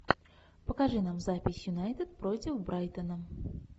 покажи нам запись юнайтед против брайтона